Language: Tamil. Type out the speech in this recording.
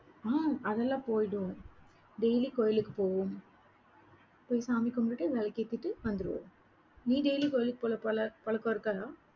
அஹ் அதெல்லாம் போயிடுவோம். daily கோயிலுக்குப் போவோம். போய் சாமி கும்பிட்டு, விளக்கேத்திட்டு வந்திருவோம். நீ daily கோயிலுக்கு போற பழ~ பழக்கம் இருக்காதா?